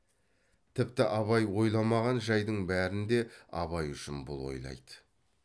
тіпті абай ойламаған жайдың бәрін де абай үшін бұл ойлайды